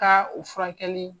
Ka o furakɛli.